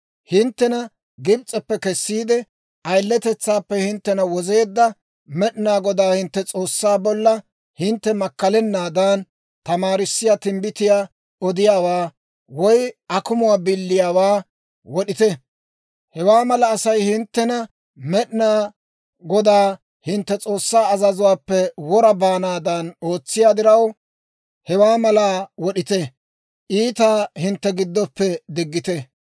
Hinttena Gibs'eppe kessiide, ayiletetsaappe hinttena wozeedda Med'inaa Godaa hintte S'oossaa bolla hintte makkalanaadan tamaarissiyaa timbbitiyaa odiyaawaa, woy akumuwaa biliyaawaa wod'ite; hewaa mala Asay hinttena Med'inaa Godaa hintte S'oossaa azazuwaappe wora baanaadan ootsiyaa diraw, hewaa malaa wod'iide, iitaa hintte giddoppe diggite.